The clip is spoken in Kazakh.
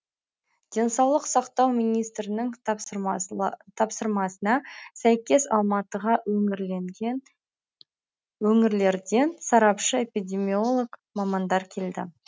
денсаулық сақтау министрінің тапсырмасына сәйкес алматыға өңірлерден сарапшы эпидемиолог мамандар келді